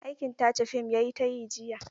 Aikin tace fim ya yi ta yi jiya.